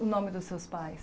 O nome dos seus pais?